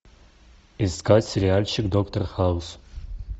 искать сериальчик доктор хаус